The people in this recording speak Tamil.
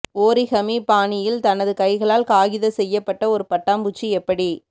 ஓரிகமி பாணியில் தனது கைகளால் காகித செய்யப்பட்ட ஒரு பட்டாம்பூச்சி எப்படி